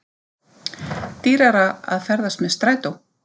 Dýrara að ferðast með strætó